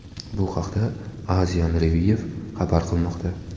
Bu haqda Asian Review xabar qilmoqda .